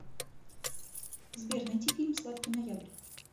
сбер найти фильм сладкий ноябрь